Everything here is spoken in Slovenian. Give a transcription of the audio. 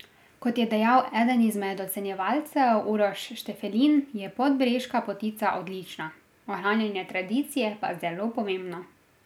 Kot je dejal eden izmed ocenjevalcev Uroš Štefelin, je Podbreška potica odlična, ohranjanje tradicije pa zelo pomembno.